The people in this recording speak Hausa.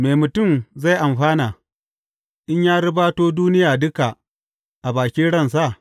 Me mutum zai amfana, in ya ribato duniya duka a bakin ransa?